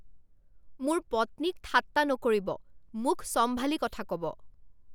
মোৰ পত্নীক ঠাট্টা নকৰিব! মুখ চম্ভালি কথা ক'ব!